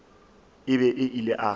e be e le a